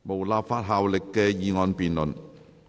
無立法效力的議案辯論。